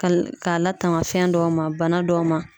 K'a k'a latanga fɛn dɔw ma bana dɔw ma.